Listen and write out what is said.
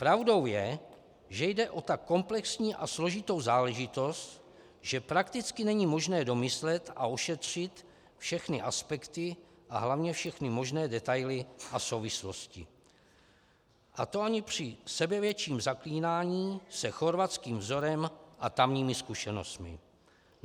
Pravdou je, že jde o tak komplexní a složitou záležitost, že prakticky není možné domyslet a ošetřit všechny aspekty a hlavně všechny možné detaily a souvislosti, a to ani při sebevětším zaklínáním se chorvatským vzorem a tamními zkušenostmi.